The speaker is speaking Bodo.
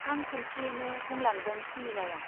हां खुनसेयैनो बुंलांदों सुमिलाया।